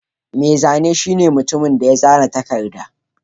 Mai zane shine mutumin da ya tsara takarda.